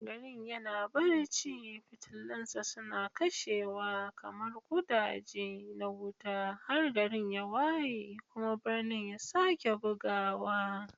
Garin yana barci, fitilunsa suna kashewa kamar ƙudaje na wuta har gari ya waye kuma birni ya sake bugawa.